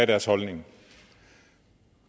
deres holdning